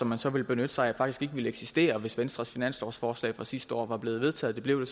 man så vil benytte sig af faktisk ikke ville eksistere hvis venstres finanslovsforslag fra sidste år var blevet vedtaget det blev